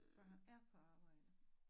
Så han er på arbejde